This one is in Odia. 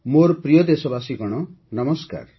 ମୋର ପ୍ରିୟ ଦେଶବାସୀଗଣ ନମସ୍କାର